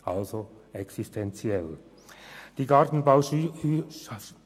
Also ist es etwas Existenzielles.